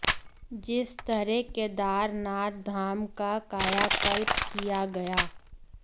जिस तरह केदारनाथ धाम का कायाकल्प किया गया